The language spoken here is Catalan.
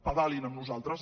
pedalin amb nosaltres